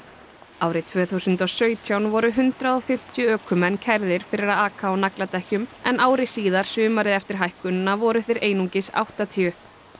árið tvö þúsund og sautján voru hundrað og fimmtíu ökumenn kærðir fyrir að aka á nagladekkjum en ári síðar sumarið eftir hækkunina voru þeir einungis áttatíu